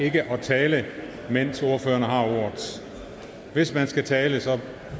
ikke at tale mens ordførerne har ordet hvis man skal tale tale